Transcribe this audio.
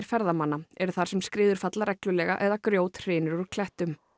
ferðamanna eru þar sem skriður falla reglulega eða grjót hrynur úr klettum